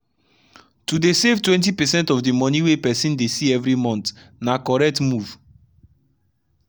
to dey save 20 percent of the money wey person dey see every monthna correct move